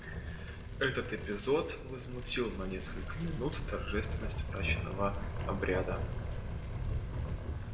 этот эпизод возмутил на несколько минут торжественность мрачного обряда